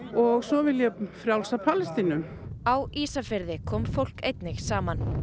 og svo vil ég frjálsa Palestínu á Ísafirði kom fólk einnig saman